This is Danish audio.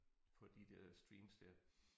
På de der streams der